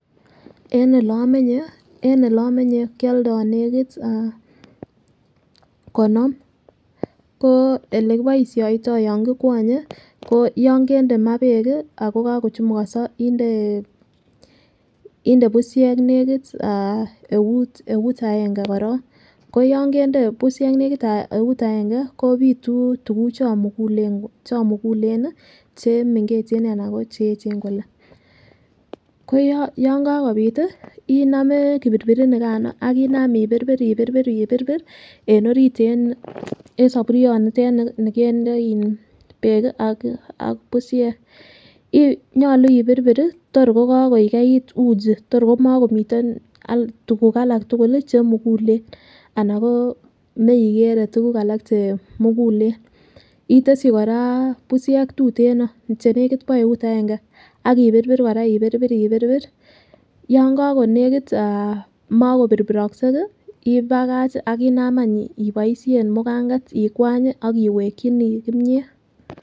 En ele omenye en ele omenye kioldo nekit ah konom ko ele kiboishoito yon kikwonye ko yon kende maa beek kii ako kokochumukoso inde bushek nekit eut aenge korong, koyon kende bushek nekit eut aenge kopiitu tukuchon mugulen chomugule nii chemengechen anan ko cheyechen kole, ko yon kakopit tii inome kipirpirit nikano akinam ipirpir ipirpir ipirpir en orit en soburyo niten nikende in beek kii ak bushek , nyolu ipirpiri your ko kakoigeit uchi tor komokomiten tukuk alak tukuk lii chemugulen anan ko meikere tukuk alak chemugulen. Iteshi Koraa bushek tuteno chenekit bo eut aenge akipirpir Koraa ipirpir ipirpir yon kokonekit mokopirpirokse ibach akinam any iboishen mukanget ingwanyi ak iwekinii kiimiet.